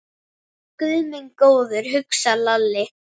Guð minn góður, hugsaði Lalli.